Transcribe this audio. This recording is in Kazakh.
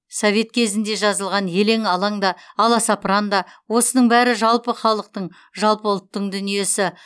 совет кезінде жазылған елең алаң да аласапыран да осының бәрі жалпы халықтың жалпы ұлттың дүниесі